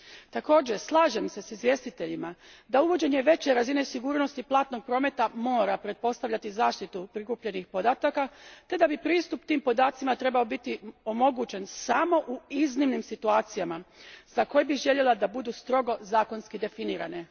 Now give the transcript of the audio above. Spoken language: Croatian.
Također, slažem se s izvjestiteljima da uvođenje veće razine sigurnosti platnog prometa mora pretpostavljati zaštitu prikupljenih podataka te da bi pristup tim podacima trebao biti omogućen samo u iznimnim situacijama za koje bih željela da budu strogo zakonski definirane.